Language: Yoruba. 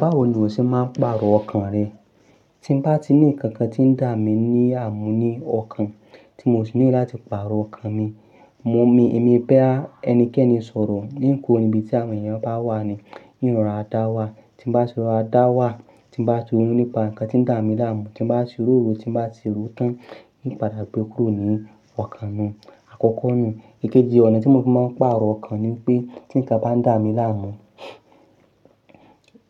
Báwo ni o ṣe máa ń pàrọ̀ ọkàn rẹ? Tí bá ti ní ǹkan kan tí ń dà mí ní àmú ní ọkàn, tí mo sì need láti pàrọ̀ ọkàn mi, mo mi, èmi pẹ́ à ẹnikẹ́ni sọ̀rọ̀ ín ku'ò nibi tí àwọn èèyàn bá wà ní, ín rora dáwà tí ń bá ti rọ̀ra dáwà tí ń bá sọ̀rọ̀ nípa ǹkan tí ń dà mí láàmú, tí ń bá sì ròorò, tí ń bá tì rò tán, in padà gbé kúrò ní ọkàn mi àkọ́kọ́ nù. Ìkéji ọ̀nà tí mo fi máa ń pàrọ̀ ọkàn ni pé tí ǹkan bá ń dà mí láàmú,